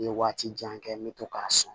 N ye waati jan kɛ n bɛ to k'a sɔn